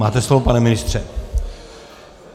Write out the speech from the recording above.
Máte slovo, pane ministře.